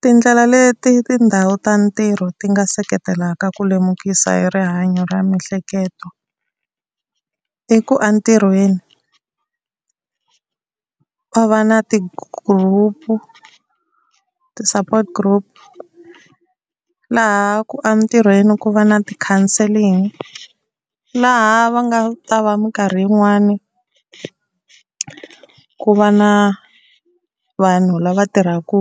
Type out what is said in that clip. Tindlela leti tindhawu ta ntirho ti nga seketelaka ku lemukisa hi rihanyo ra miehleketo i ku a ntirhweni va va na ti-group ti-support group laha a ntirhweni ku va na ti-counselling, laha va nga ta va minkarhi yin'wani ku va na vanhu lava tirhaka